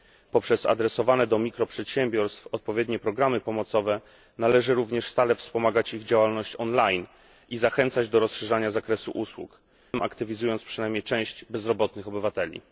Poprzez adresowane do mikroprzedsiębiorstw odpowiednie programy pomocowe należy również stale wspomagać ich działalność online i zachęcać do rozszerzania zakresu usług, aktywizując tym samym przynajmniej część bezrobotnych obywateli.